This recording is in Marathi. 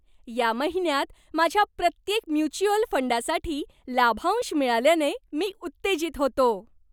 या महिन्यात माझ्या प्रत्येक म्युच्युअल फंडासाठी लाभांश मिळाल्याने मी उत्तेजित होतो.